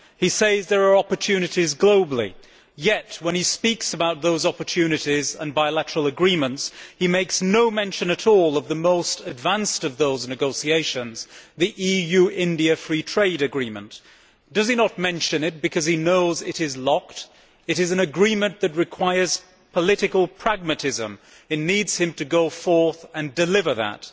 He says there are opportunities globally, yet when he speaks about those opportunities and bilateral agreements he makes no mention at all of the most advanced of those negotiations, on the EU India Free Trade Agreement. Does he not mention it because he knows it is locked'? It is an agreement which requires political pragmatism it needs him to go forth and deliver that,